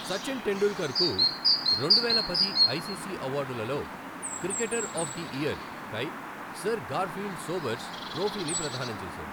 సచిన్ టెండూల్కర్కు రెండువేల పది ఐసీసీ అవార్డులలో క్రికెటర్ ఆఫ్ ది ఇయర్ కై సర్ గార్ఫీల్డ్ సోబర్స్ ట్రోఫీని ప్రదానం చేశారు.